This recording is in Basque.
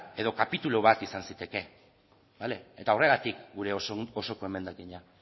edo kapitulu bat izan zitekeen eta horregatik gure osoko emendakina